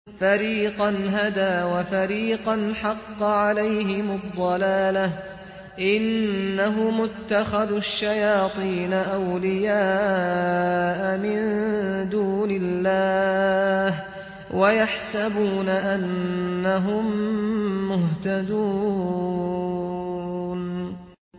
فَرِيقًا هَدَىٰ وَفَرِيقًا حَقَّ عَلَيْهِمُ الضَّلَالَةُ ۗ إِنَّهُمُ اتَّخَذُوا الشَّيَاطِينَ أَوْلِيَاءَ مِن دُونِ اللَّهِ وَيَحْسَبُونَ أَنَّهُم مُّهْتَدُونَ